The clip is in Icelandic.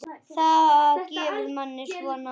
Það gefur manni svona.